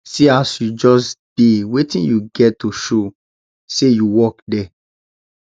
see as you just dey wetin you get to show say you work there